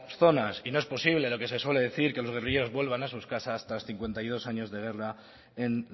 zonas y no es posible lo que se suele decir que los guerrilleros vuelvan a sus casas tras cincuenta y dos años de guerra en